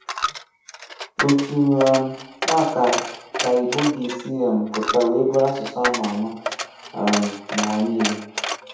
Òtù um à kà kà Ìgbò gà-èsí um pụta wéè bùrù àsụ̀sụ̀ à mà àmà um n’ụ̀wà nílè.